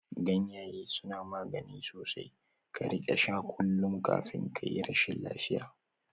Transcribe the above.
Ganyaye suna magani sosai, ka rika sha kullum kafin kayi rashin lafiya